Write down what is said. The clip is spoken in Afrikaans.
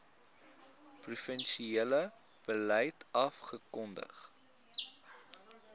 provinsiale beleid afgekondig